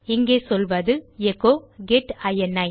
இங்கே சொல்வது எச்சோ கெட் இனி